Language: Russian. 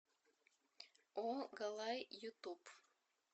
о галай ютуб